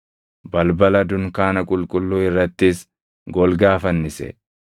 Balbala dunkaana qulqulluu irrattis golgaa fannise.